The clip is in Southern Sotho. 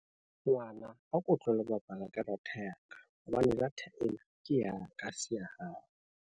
Ngwana a ko tlohelle ho bapala ka data ya ka, hobane data ena ke ya ka ha se ya hao.